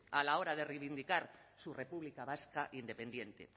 a la hora de reivindicar su república vasca independiente